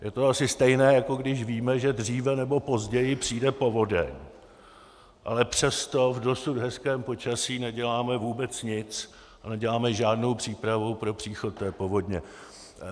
Je to asi stejné, jako když víme, že dříve nebo později přijde povodeň, ale přesto v dosud hezkém počasí neděláme vůbec nic a neděláme žádnou přípravu pro příchod té povodně.